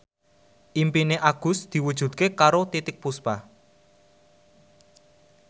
impine Agus diwujudke karo Titiek Puspa